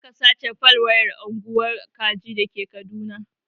Jiya aka sace fal waya a unguwar kaji dake kaduna